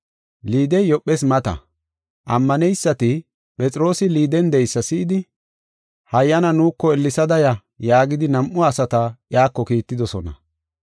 Liidey Yoophes mata. Ammaneysati Phexroosi Liiden de7eysa si7idi, “Hayyana nuuko ellesada ya” yaagidi nam7u asata iyako kiittidosona.